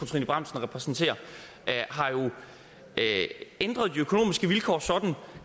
trine bramsen repræsenterer har jo ændret de økonomiske vilkår sådan